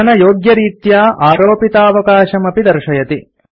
पठनयोग्यरीत्या आरोपितावकाशम् अपि दर्शयति